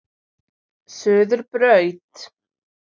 Suðurbraut